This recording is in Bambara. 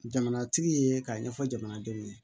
Jamanatigi ye k'a ɲɛfɔ jamana denw ye